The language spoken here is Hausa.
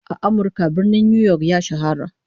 A Amirka, Birnin New York ya shahara